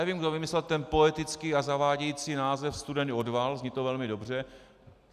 Nevím, kdo vymyslel ten poetický a zavádějící název studený odval, zní to velmi dobře.